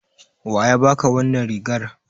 Wa ya baka wannan rigar?